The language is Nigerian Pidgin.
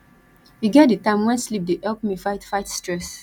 e get di time wen sleep dey help me fight fight stress